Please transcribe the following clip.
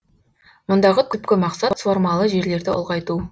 мұндағы түпкі мақсат суармалы жерлерді ұлғайту